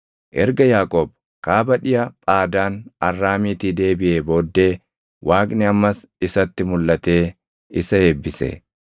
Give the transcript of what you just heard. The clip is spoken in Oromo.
Erga Yaaqoob kaaba dhiʼa Phaadaan Arraamiitii deebiʼee booddee Waaqni ammas isatti mulʼatee isa eebbise.